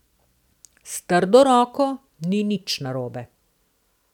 S trdo roko ni nič narobe.